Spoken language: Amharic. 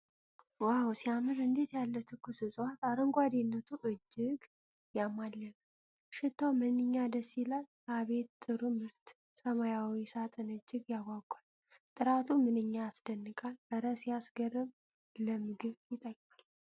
ዋው ሲያምር! እንዴት ያለ ትኩስ ዕፅዋት! አረንጓዴነቱ እጅግ ያማልላል። ሽታው ምንኛ ደስ ይላል! አቤት ጥሩ ምርት! ሰማያዊው ሳጥን እጅግ ያጓጓል። ጥራቱ ምንኛ ያስደንቃል! እረ ሲያስገርም! ለምግብ ይጠቅማል!